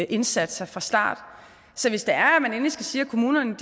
indsatser fra starten så hvis det er at man endelig skal sige at kommunerne